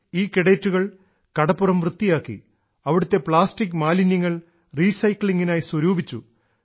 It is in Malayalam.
ഈ കേഡറ്റുകൾ കടപ്പുറം വൃത്തിയാക്കി അവിടുത്തെ പ്ലാസ്റ്റിക് മാലിന്യങ്ങൾ റീസൈക്ലിങ്ങിനായി സ്വരൂപിച്ചു